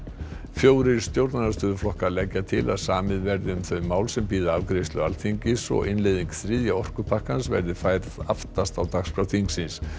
fjórir stjórnarandstöðuflokkar leggja til að samið verði um þau mál sem bíða afgreiðslu Alþingis og innleiðing þriðja orkupakkans verði færð aftast á dagskrá þingsins